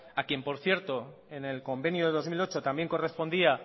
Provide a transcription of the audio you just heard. a quien por cierto en el convenio de dos mil ocho también correspondía